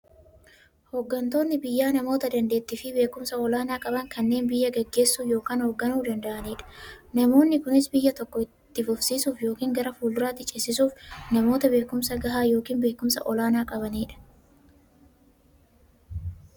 Hooggantoonni biyyaa namoota daanteettiifi beekumsa olaanaa qaban, kanneen biyya gaggeessuu yookiin hoogganuu danda'aniidha. Namoonni kunis, biyya tokko itti fufsiisuuf yookiin gara fuulduraatti ceesisuuf, namoota beekumsa gahaa yookiin beekumsa olaanaa qabaniidha.